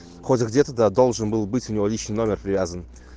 хоть где-то да должен был быть у него личный номер привязан